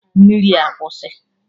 Mmiri a kwụsị!